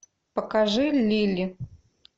покажи лили